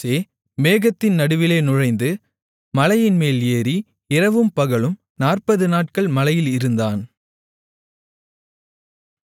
மோசே மேகத்தின் நடுவிலே நுழைந்து மலையின்மேல் ஏறி இரவும் பகலும் நாற்பதுநாட்கள் மலையில் இருந்தான்